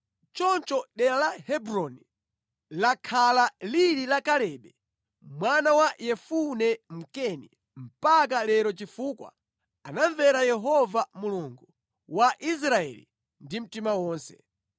Choncho dera la Hebroni lakhala lili la Kalebe mwana wa Yefune Mkeni mpaka lero chifukwa anamvera Yehova Mulungu wa Israeli ndi mtima wonse.